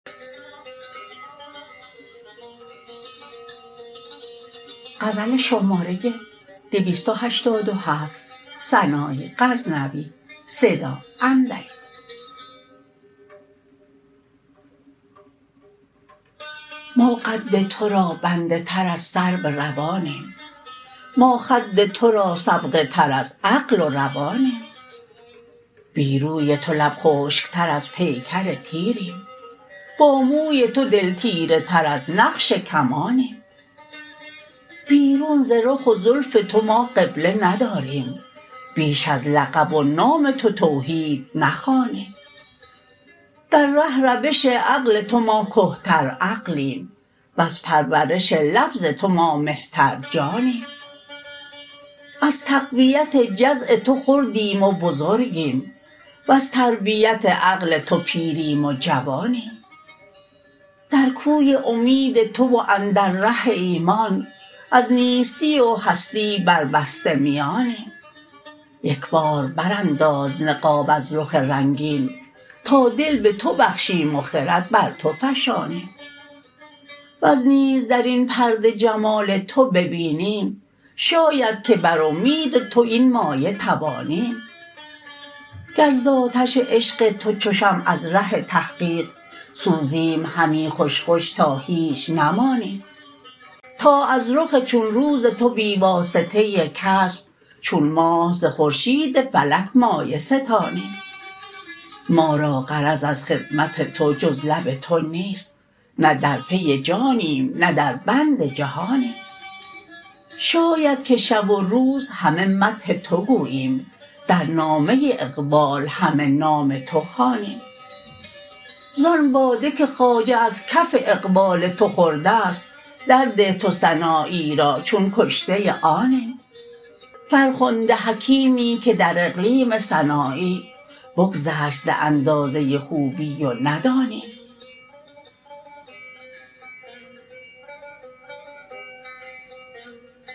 ما قد ترا بنده تر از سرو روانیم ما خد ترا سغبه تر از عقل و روانیم بی روی تو لب خشک تر از پیکر تیریم با موی تو دل تیره تر از نقش کمانیم بیرون ز رخ و زلف تو ما قبله نداریم بیش از لقب و نام تو توحید نخوانیم در ره روش عقل تو ما کهتر عقلیم وز پرورش لفظ تو ما مهتر جانیم از تقویت جزع تو خردیم و بزرگیم وز تربیت عقل تو پیریم و جوانیم در کوی امید تو و اندر ره ایمان از نیستی و هستی بر بسته میانیم یک بار برانداز نقاب از رخ رنگین تا دل به تو بخشیم و خرد بر تو فشانیم وز نیز درین پرده جمال تو ببینیم شاید که بر امید تو این مایه توانیم گر ز آتش عشق تو چو شمع از ره تحقیق سوزیم همی خوش خوش تا هیچ نمانیم تا از رخ چون روز تو بی واسطه کسب چون ماه ز خورشید فلک مایه ستانیم ما را غرض از خدمت تو جز لب تو نیست نه در پی جانیم نه در بند جهانیم شاید که شب و روز همه مدح تو گوییم در نامه اقبال همه نام تو خوانیم زان باده که خواجه از کف اقبال تو خوردست درده تو سنایی را چون کشته آنیم فرخنده حکیمی که در اقلیم سنایی بگذشت ز اندازه خوبی و ندانیم